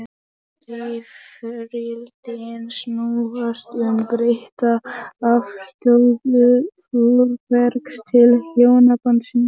Rifrildin snúast um breytta afstöðu Þórbergs til hjónabandsins.